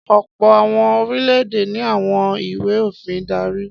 Ọ̀pọ̀ àwọn orílẹ̀-èdè ni àwọn ìwé-òfin ń darí.